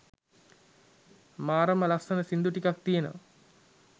මාරම ලස්සන සින්දු ටිකක් තියෙනවා